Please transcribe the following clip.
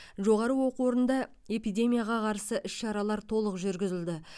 жоғары оқу орнында эпидемияға қарсы іс шаралар толық жүргізілді